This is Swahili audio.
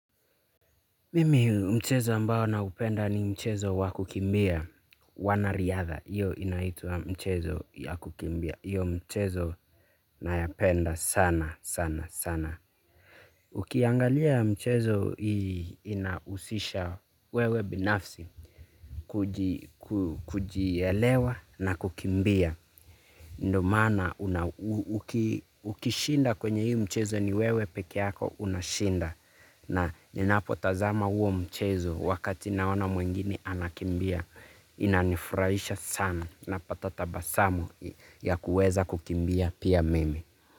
Mimi mchezo ambao naupenda ni mchezo wa kukimbia. Wanariadha. Iyo inaitwa mchezo ya kukimbia. Iyo mchezo nayapenda sana sana sana. Ukiangalia mchezo inahusisha wewe binafsi kuji kujielewa na kukimbia. Ndo maana ukishinda kwenye hii mchezo ni wewe peke yako unashinda. Na ninapotazama huo mchezo wakati naona mwingine anakimbia. Inanifurahisha sana napata tabasamu ya kuweza kukimbia pia mimi.